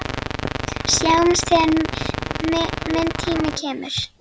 Sjáumst þegar minn tími kemur.